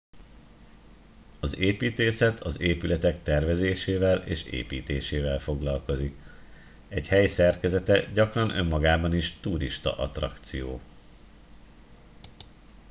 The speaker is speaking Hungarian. az építészet az épületek tervezésével és építésével foglalkozik egy hely szerkezete gyakran önmagában is turistaattrakció